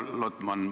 Härra Lotman!